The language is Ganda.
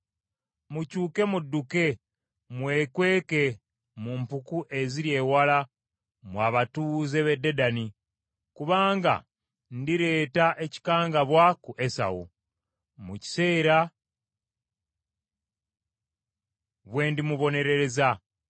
Mukyuke mudduke mwekweke mu mpuku eziri ewala mmwe abatuuze b’e Dedani, kubanga ndireeta ekikangabwa ku Esawu, mu kiseera bwe ndimubonerereza.